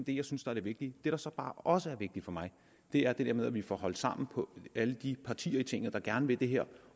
det jeg synes er det vigtige det der så bare også er vigtigt for mig er det med at vi får holdt sammen på alle de partier i tinget der gerne vil det her